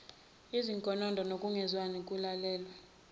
izinkonondo nokungezwani kulalelwa